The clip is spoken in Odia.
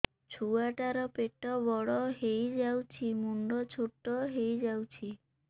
ଛୁଆ ଟା ର ପେଟ ବଡ ହେଇଯାଉଛି ମୁଣ୍ଡ ଛୋଟ ହେଇଯାଉଛି